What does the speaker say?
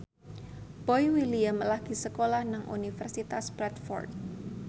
Boy William lagi sekolah nang Universitas Bradford